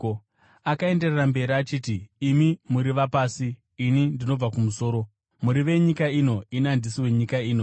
Asi akaenderera mberi achiti, “Imi muri vapasi; ini ndinobva kumusoro. Muri venyika ino; ini handisi wenyika ino.